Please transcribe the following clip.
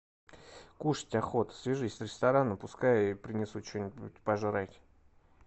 кушать охота свяжись с рестораном пускай принесут что нибудь пожрать